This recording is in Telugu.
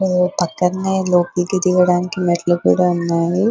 పక్కనే లోపలికి దిగడానికి మెట్లు కూడా ఉన్నాయి.